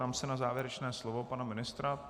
Ptám se na závěrečné slovo pana ministra.